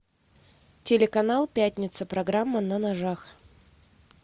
телеканал пятница программа на ножах